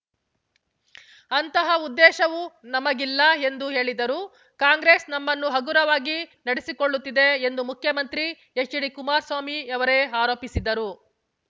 ಅಂತಹ ಉದ್ದೇಶವೂ ನಮಗಿಲ್ಲ ಎಂದು ಹೇಳಿದರು ಕಾಂಗ್ರೆಸ್‌ ನಮ್ಮನ್ನು ಹಗುರವಾಗಿ ನಡೆಸಿಕೊಳ್ಳುತ್ತಿದೆ ಎಂದು ಮುಖ್ಯಮಂತ್ರಿ ಎಚ್‌ಡಿಕುಮಾರಸ್ವಾಮಿಯವರೇ ಆರೋಪಿಸಿದ್ದರು